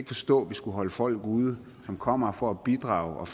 forstå at vi skal holde folk ude som kommer her for at bidrage